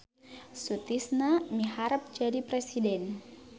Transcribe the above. Sutisna miharep jadi presiden